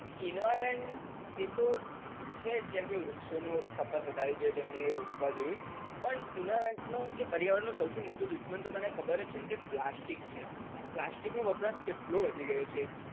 environment એતો છે જ જેમકે વૃક્ષઓની ખપત વધારવી જોઈએ, તેમને રોપવા જોઈએ, પણ environment નો કે પર્યાવરણ નો સૌથી મોટો દુસ્મન તો તને ખબર જ છે કે plastic જ છે plastic નો વપરાશ કેટલો વધી ગયો છે.